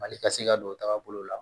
Mali ka se ka don o tagabolo la